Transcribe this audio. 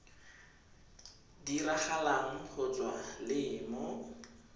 diragalang go tswa le mo